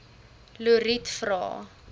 lotriet vra